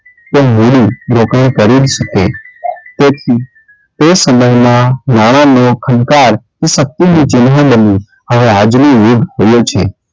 લોકો એ કરી શું કે, તે સમયમાં નાણાનો ખનકાર એ શક્તિનું ચિન્હ બન્યું હવે આજનો યુગ છે.